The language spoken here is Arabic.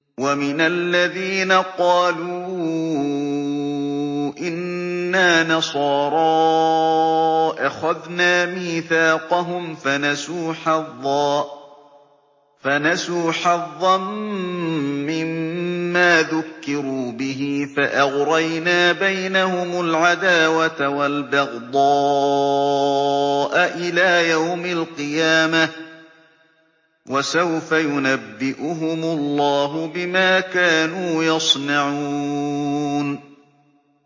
وَمِنَ الَّذِينَ قَالُوا إِنَّا نَصَارَىٰ أَخَذْنَا مِيثَاقَهُمْ فَنَسُوا حَظًّا مِّمَّا ذُكِّرُوا بِهِ فَأَغْرَيْنَا بَيْنَهُمُ الْعَدَاوَةَ وَالْبَغْضَاءَ إِلَىٰ يَوْمِ الْقِيَامَةِ ۚ وَسَوْفَ يُنَبِّئُهُمُ اللَّهُ بِمَا كَانُوا يَصْنَعُونَ